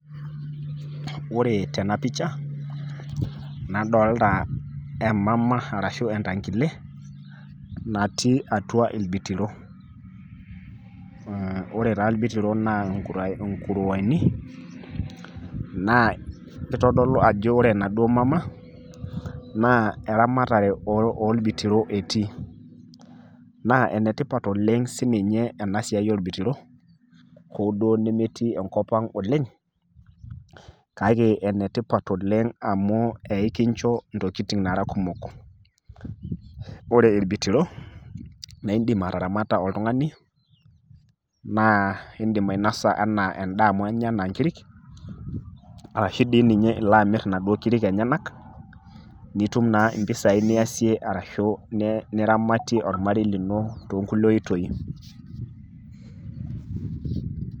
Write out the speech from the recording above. Ore tena picha, nadolita emaama ashu entankile natii atua ilbitiro. Ore taa ilbitiro naa inkurueni naa kitodolu ajo ore ena duo maama naa eramatare oo bitoro etii. Naa ene tipat oleng' si ninye ena siai oo bitiro, hoo duo nemetii enkop ang' oleng', kake ene tipat oleng' amuu ikincho ntokitin nara kumok. Ore irbitiro naa idim ataramata oltung'ani naa idim ainosa ena eda amu inya inkirik arashu dii ninye ilo amiir inaduo kirik enyanak nitum naa impesai niasie arashu niramatie ormarei lino too nkulie otoi.